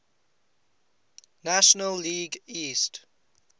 national league east